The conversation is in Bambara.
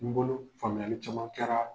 N bolo faamuyali caman kɛra.